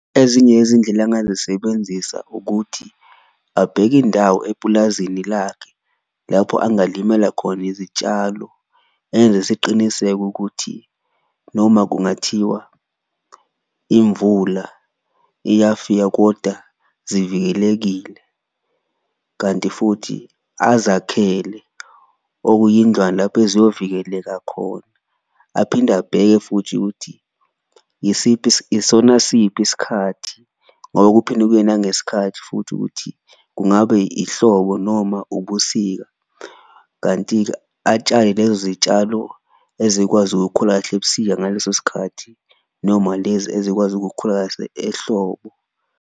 Ezinye yezindlela engazisebenzisa ukuthi abheke indawo epulazini lakhe lapho angalimela khona izitshalo, enze isiqiniseko ukuthi noma kungathiwa imvula iyafika koda zivikelekile. Kanti futhi azakhele okuyindlwana lapho eziyovikeleka khona, aphinde abheke futhi ukuthi yisiphi isona siphi isikhathi ngoba kuphinde kuye nangesikhathi futhi ukuthi kungabe ihlobo noma ubusika. Kanti-ke atshale lezo zitshalo ezikwazi ukukhula kahle ebusika ngaleso sikhathi, noma lezi ezikwazi ukukhula kahle ehlobo.